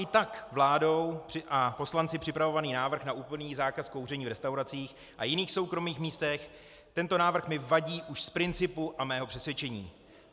I tak vládou a poslanci připravovaný návrh na úplný zákaz kouření v restauracích a jiných soukromých místech - tento návrh mi vadí už z principu a mého přesvědčení.